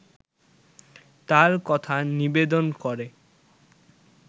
তার কথা নিবেদন করে